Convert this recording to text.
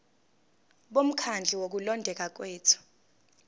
bomkhandlu wokulondeka kwethu